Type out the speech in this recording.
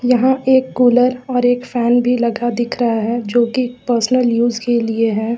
यहां एक कुलर और एक फैन भी लगा दिख रहा है जो की पर्सनल यूज के लिए है।